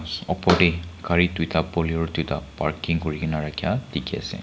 upor te kari tuida bolero tuida parking kurikena rakheya dekhi ase.